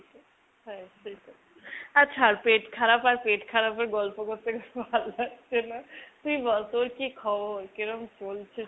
হ্যাঁ, সেটাই আ ছাড়। পেট খারাপ আর পেট খারাপের গল্প ভাল লাগছেনা তুই বল তোর কি খবর ?কেরোম চলছে